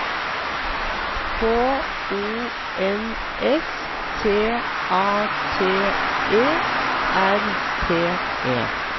K O N S T A T E R T E